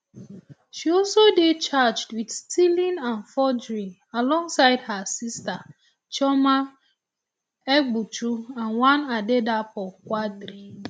she also dey charged wit stealing and forgery alongside her her sister chioma egbuchu and one adedapo quadri